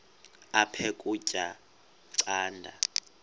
aphek ukutya canda